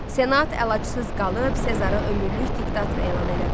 Senat əlacısız qalıb Sezarı ömürlük diktator elan elədi.